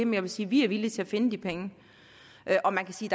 jeg vil sige at vi er villige til at finde de penge og man kan sige